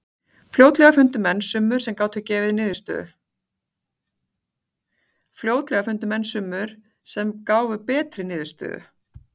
Fljótlega fundu menn summur sem gáfu betri niðurstöðu.